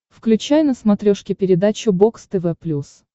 включай на смотрешке передачу бокс тв плюс